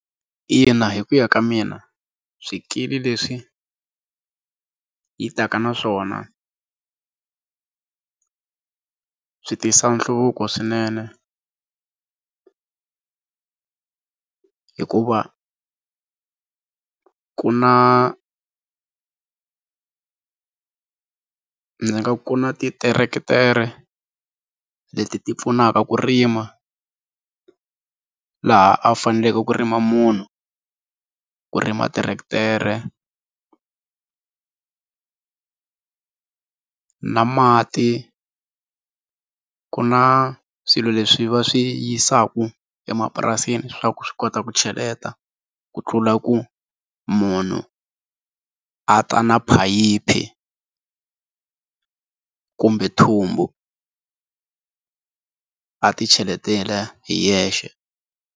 Ina, hi ku ya ka mina swikili leswi yi taka naswona swi tisa nhluvuko swinene hikuva ku na ndzi nga ku na ti tiretere leti ti pfunaka ku rima laha a faneleke ku rima munhu ku rima tiretere na mati ku na swilo leswi va swi yisaka emapurasini swa ku swi kota ku cheleta ku tlula ku munhu a ta na phayiphi kumbe thumbu a ti cheletela hi yexe.